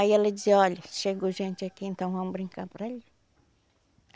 Aí ela dizia, olha, chegou gente aqui, então vão brincar por ali